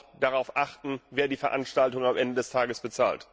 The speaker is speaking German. Und bitte auch darauf achten, wer die Veranstaltung am Ende des Tages bezahlt!